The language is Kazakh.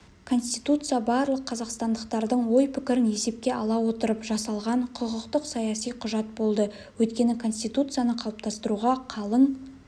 конституция барлық қазақстандықтардың ой-пікірін есепке ала отырып жасалған құқықтық-саяси құжат болды өйткені конституцияны қалыптастыруға қалың